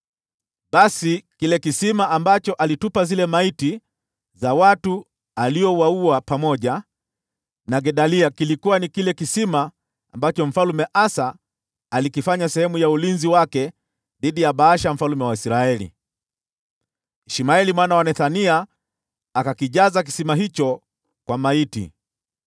Basi kile kisima ambacho alitupa zile maiti za watu aliowaua pamoja na Gedalia kilikuwa ni kile kisima ambacho Mfalme Asa alikifanya sehemu ya ulinzi wake dhidi ya Baasha mfalme wa Israeli. Ishmaeli mwana wa Nethania akakijaza kisima hicho kwa maiti.